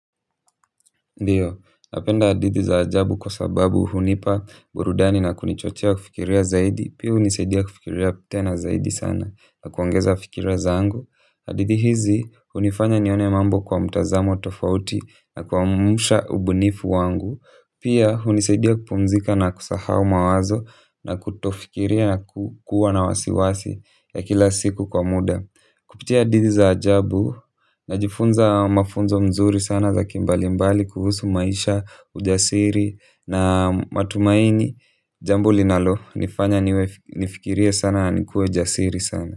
Ndiyo, napenda hadithi za ajabu kwa sababu hunipa burudani na kunichochea kufikiria zaidi, pia hunisaidia kufikiria tena zaidi sana, na kuongeza fikira zangu. Hadithi hizi hunifanya nione mambo kwa mtazamo tofauti na kuamsha ubunifu wangu, pia hunisaidia kupumzika na kusahau mawazo na kutofikiria na kuwa na wasiwasi ya kila siku kwa muda. Kupitia hadithi za ajabu najifunza mafunzo mzuri sana za kimbalimbali, kuhusu maisha, ujasiri na matumaini, jambo linalonifanya nifikirie sana na nikuwe jasiri sana.